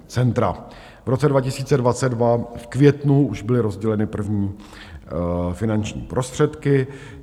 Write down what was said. V roce 2022 v květnu už byly rozděleny první finanční prostředky.